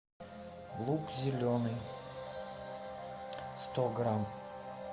лук зеленый сто грамм